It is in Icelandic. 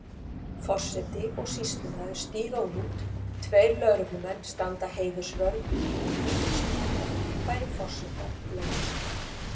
Forseti og sýslumaður stíga út, tveir lögreglumenn standa heiðursvörð og lítil stúlka færir forseta blómvönd.